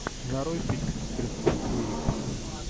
нарой фильм с кристен уиг